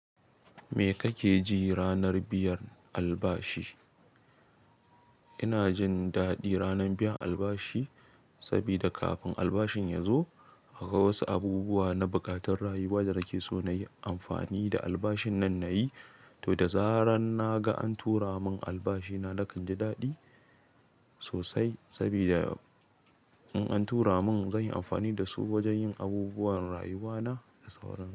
Me kake ji ranar biyan albashi? Ina jin daɗi ranar biyan albashi saboda kafin albashin ya zo, akwai wasu abubuwa na buƙatar rayuwa da nake so na yi amfani da albashin nan na yi. To da zarar na ga an tura mun albashi, na dakan ji daɗi sosai saboda in an tura mun, zan yi amfani da su wajen yin abubuwan rayuwa na da sauran su.